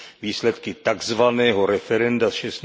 výsledky takzvaného referenda z